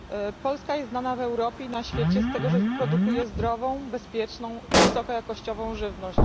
Polska jest znana w Europie i na świecie z tego, że produkuje zdrową, bezpieczną i wysokojakościową żywność.